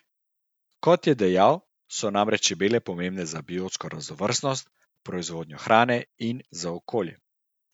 Kot je dejal, so namreč čebele pomembne za biotsko raznovrstnost, proizvodnjo hrane in za okolje.